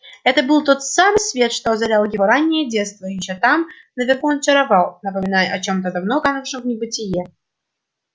это был тот самый свет что озарял его раннее детство ещё там наверху он чаровал напоминая о чем-то давно канувшем в небытие